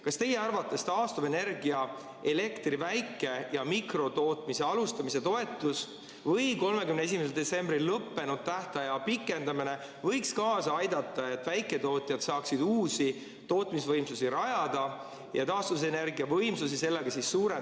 Kas teie arvates taastuvallikatest toodetud elektri väike‑ ja mikrotootmise alustamise toetus või 31. detsembril lõppenud tähtaja pikendamine võiks kaasa aidata, et väiketootjad saaksid uusi tootmisvõimsusi rajada ja sellega taastuvenergiavõimsusi suurendada Eestis?